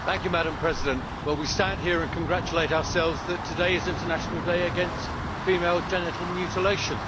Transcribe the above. Madam President, we stand here and congratulate ourselves that today is International Day against Female Genital Mutilation.